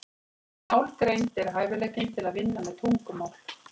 Málgreind er hæfileikinn til að vinna með tungumál.